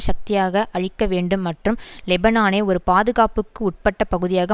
சக்தியாக அழிக்க வேண்டும் மற்றும் லெபனானை ஒரு பாதுகாப்புக்கு உட்பட்ட பகுதியாக